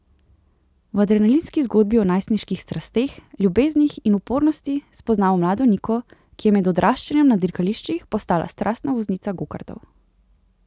V adrenalinski zgodbi o najstniških strasteh, ljubeznih in upornosti spoznamo mlado Niko, ki je med odraščanjem na dirkališčih postala strastna voznica gokartov.